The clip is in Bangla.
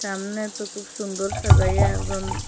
সামনেতো খুব সুন্দর সাজাইয়া একজন--